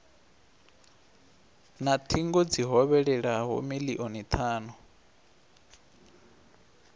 na thingo dzi hovhelelaho milioni thanu